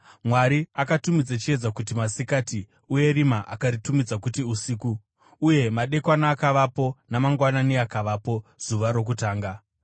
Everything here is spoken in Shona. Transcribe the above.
Mwari akatumidza chiedza kuti “masikati,” uye rima akaritumidza kuti “usiku.” Uye madekwana akavapo, namangwanani akavapo, zuva rokutanga.